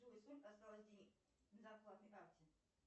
джой сколько осталось денег на зарплатной карте